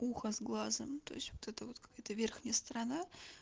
ухо с глазом то есть вот это вот какая-то верхняя сторона